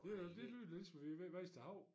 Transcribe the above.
Ved du hvad det lyder lidt som vi ved Vesterhav